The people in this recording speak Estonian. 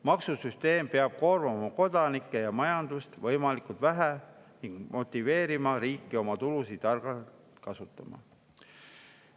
Maksusüsteem peab koormama kodanikke ja majandust võimalikult vähe ning motiveerima riiki oma tulusid targalt kasutama.